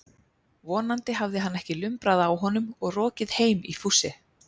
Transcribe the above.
Vonandi hafði hann ekki lumbrað á honum og rokið heim í fússi.